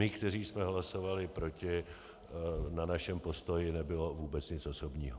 My, kteří jsme hlasovali proti - na našem postoji nebylo vůbec nic osobního.